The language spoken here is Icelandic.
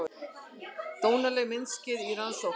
Dónaleg myndskeið í rannsókn